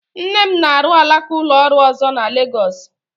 Nne m na-arụ alaka ụlọ ọrụ ọzọ na Legọs